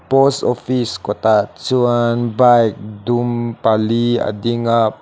post office kawtah chuan bike dum pali a ding a pa --